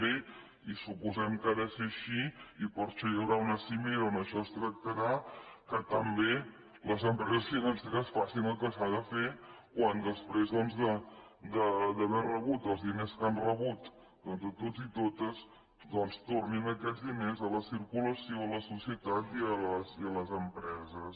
i suposem que ha de ser així i per això hi haurà una cimera on això es tractarà que també les empreses financeres facin el que s’ha de fer quan després doncs d’haver rebut els diners que han rebut de tots i totes doncs tornin aquests diners a la circulació a la societat i a les empreses